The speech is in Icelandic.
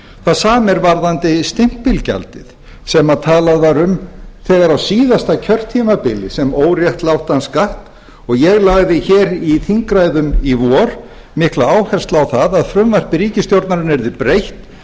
það sama er varðandi stimpilgjaldið sem talað var um þegar á síðasta kjörtímabili sem óréttlátan skatt og ég lagði hér í þingræðum í vor mikla áherslu á að frumvarpi ríkisstjórnarinnar yrði breytt